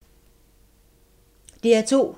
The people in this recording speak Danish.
DR2